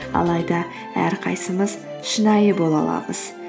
алайда әрқайсысымыз шынайы бола аламыз